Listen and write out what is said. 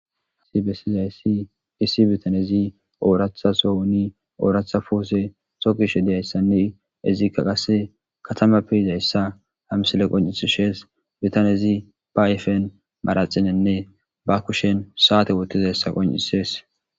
Isibesizayssi kisi bitanezi ooratha sowuni ooratha puose sokishe deyayssanne izikka qasse katama peyizayssa hamsile qon'isishees bitanezi ba aifen maraxinenne ba kushen saate wotizayssa qon'isees